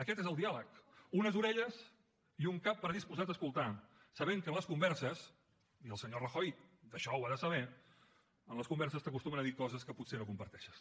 aquest és el diàleg unes orelles i un cap predisposat a escoltar sabent que en les converses i el senyor rajoy això ho ha de saber t’acostumen a dir coses que potser no comparteixes